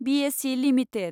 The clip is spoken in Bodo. BSE limited